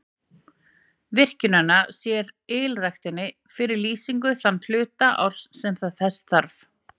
Virkjunin sér ylræktinni fyrir lýsingu þann hluta árs sem þess þarf.